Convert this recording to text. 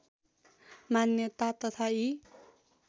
मान्यता तथा यी